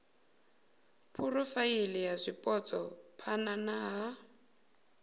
phurofaili ya zwipotso phana ha